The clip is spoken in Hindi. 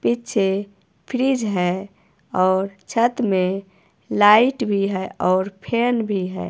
पीछे फ्रिज है और छत में लाइट भी है और फैन भी है।